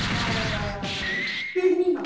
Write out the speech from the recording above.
আপনার আহ ফিরনি হবে।